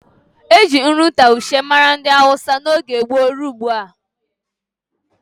Eji nri taushe mara ndị hausa n'oge gboo rụọ ugbua